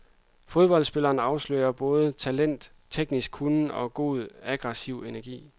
Fodboldspilleren afslører både talent, teknisk kunnen og god, aggressiv energi.